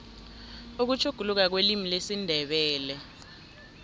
ukutjhuguluka kwelimu lesindebele